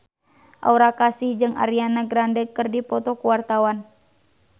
Aura Kasih jeung Ariana Grande keur dipoto ku wartawan